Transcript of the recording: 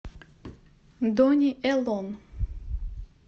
дони элон